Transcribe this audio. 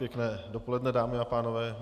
Pěkné dopoledne, dámy a pánové.